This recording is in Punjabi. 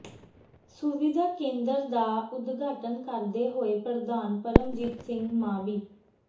ਸੁਵਿਧਾ ਕੇਂਦਰ ਦਾ ਉਦਘਾਟਨ ਕਰਦੇ ਹੋਏ ਪ੍ਰਧਾਨ ਪਰਮਜੀਤ ਸਿੰਘ ਮਾਵੀ